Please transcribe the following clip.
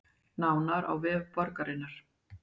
Nánar á vef borgarinnar